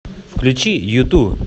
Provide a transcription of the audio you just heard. включи юту